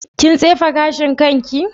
Kin tsefe gashin kanki?